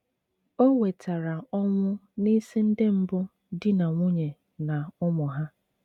O wetara ọnwụ n'isi ndị mbụ di na nwunye na ụmụ ha.